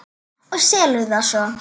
Og selurðu það svo?